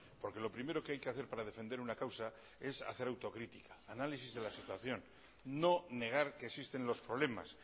porque lo primero que hay que hacer para defender una causa es hacer autocrítica análisis de la situación no negar que existen los problemas